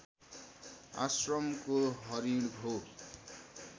आश्रमको हरिण हो